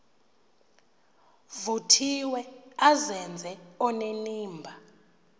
vuthiwe azenze onenimba